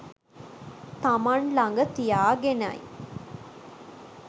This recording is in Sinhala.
තමන් ළඟ තියාගෙනයි.